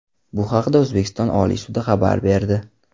Bu haqda O‘zbekiston Oliy sudi xabar berdi .